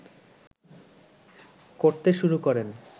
করতে শুরু করেন